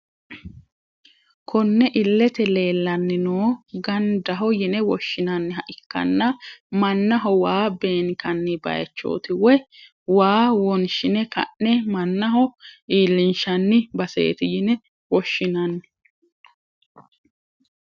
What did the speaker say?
Konne ilete leelani noo gandaho yine woshinaniha ikkana manaho waa beenkani bayichoti woyi waa wonshine ka`ne manaho iilinshani baseeti yine woshinani.